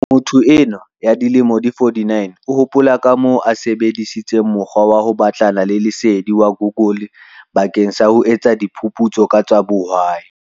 Motho enwa ya dilemo di 49 o hopola kamoo a sebe disitseng mokgwa wa ho batlana le lesedi wa Google bakeng sa ho etsa diphu putso ka tsa bohwai.